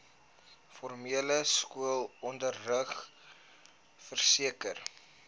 formele skoolonderrig verseker